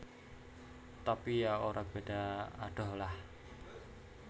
Tapi ya ora beda adoh lah